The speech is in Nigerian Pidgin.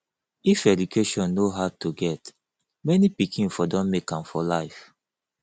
if education no hard to get many pikin for don make am for life